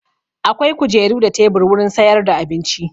Akwai kujeru da tebur wurin sayar da abinci.